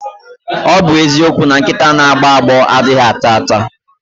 Ọ bụ eziokwu na nkịta na-agbọ agbọ anaghị ata ata.